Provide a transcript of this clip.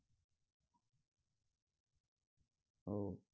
हो.